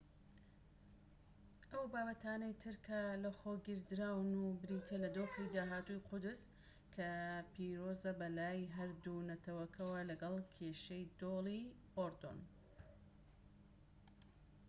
ئەو بابەتانەی تر کە لەخۆگیردراون بریتیە لە دۆخی داهاتووی قودس کە پیرۆزە بەلای هەردوو نەتەوەکەوە لەگەڵ کێشەی دۆڵی ئوردون